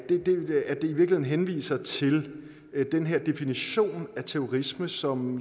i virkeligheden henviser til den her definition af terrorisme som